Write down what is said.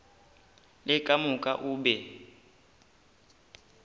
le ka moka o be